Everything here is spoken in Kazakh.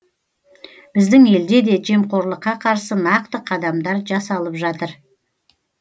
біздің елде де жемқорлыққа қарсы нақты қадамдар жасалып жатыр